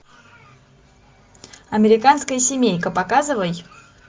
американская семейка показывай